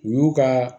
U y'u ka